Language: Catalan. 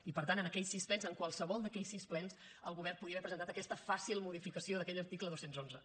i per tant en aquells sis plens en qualsevol d’aquells sis plens el govern podia haver presentat aquesta fàcil modificació d’aquell article dos cents i onze